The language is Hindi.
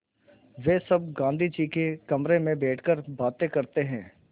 वे सब गाँधी जी के कमरे में बैठकर बातें करते हैं